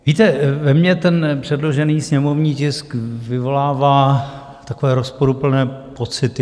Víte, ve mně ten předložený sněmovní tisk vyvolává takové rozporuplné pocity.